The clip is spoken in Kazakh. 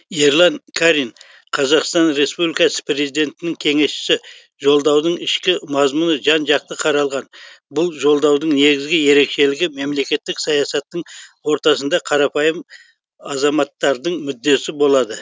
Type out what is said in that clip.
ерлан қарин қазақстан республикасы президентінің кеңесшісі жолдаудың ішкі мазмұны жан жақты қаралған бұл жолдаудың негізгі ерекшелігі мемлекеттік саясаттың ортасында қарапайым азаматтардың мүддесі болады